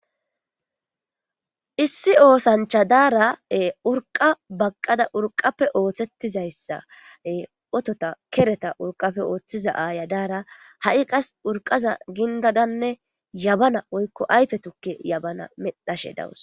issi oosancha daara7e urqa baqqada urqappe ooththettizayssae otota kereta urqappe ooththiza aaya daara ha7i qas urqaza gindadanne yabana oykko ayfe tukke yabana medhashe dawus